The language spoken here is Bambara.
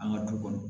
An ka du kɔnɔ